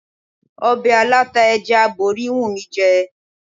Ọbẹ̀ aláta ẹja aborí ń wù mí jẹ.